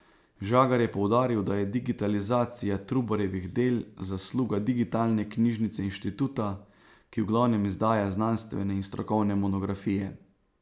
Žagar je poudaril, da je digitalizacija Trubarjevih del zasluga digitalne knjižnice inštituta, ki v glavnem izdaja znanstvene in strokovne monografije.